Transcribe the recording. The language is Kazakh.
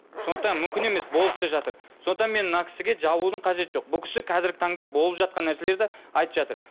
сондықтан мүмкін емес болып та жатыр сондықтан мен мына кісіге жабылудың қажеті жоқ бұл кісі қазіргі таңда болып жатқан нәрселерді айтып жатыр